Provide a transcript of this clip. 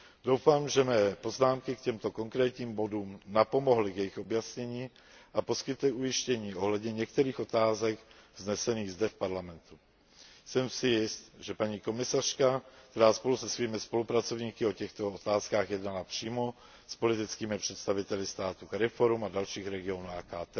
Doufám, že mé poznámky k těmto konkrétním bodům napomohly k jejich objasnění a poskytly ujištění ohledně některých otázek vznesených zde v Parlamentu. Jsem si jist, že paní komisařka, která spolu se svými spolupracovníky o těchto otázkách jednala přímo s politickými představiteli států CARIFORUM a dalších regionů